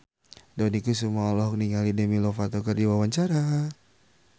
Dony Kesuma olohok ningali Demi Lovato keur diwawancara